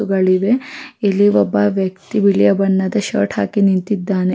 ಹೂಗಳಿವೆ ಇಲ್ಲಿ ಒಬ್ಬ ವ್ಯಕ್ತಿ ಬಿಳಿಯ ಬಣ್ಣದ ಶರ್ಟ್ ಹಾಕಿ ನಿಂತಿದ್ದಾನೆ.